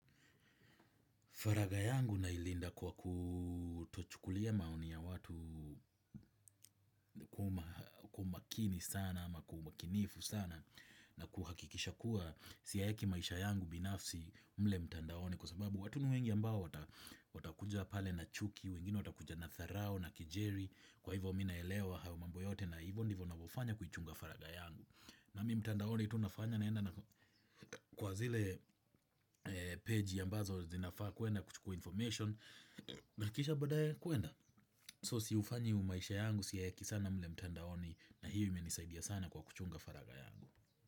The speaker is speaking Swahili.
Faragha yangu nailinda kwa kutochukulia maoni ya watu kwa umakini sana ama kwa umakinifu sana na kuhakikisha kuwa siyaweki maisha yangu binafsi mle mtandaoni, kwa sababu watu ni wengi ambao watakuja pale na chuki, wengine watakuja na dharao na kejeli kwa hivo mimi naelewa hayo mambo yote na hivyo ndivyo navyofanya kuichunga faragha yangu. Nami mtandaoni tu nafanya naenda na kwa zile page ambazo zinafaa kwenda kuchukua information. Na kisha badae kwenda. Sifanyi maisha yangu siyaweki sana mle mtandaoni. Na hio imenisaidia sana kwa kuchunga faragha yangu.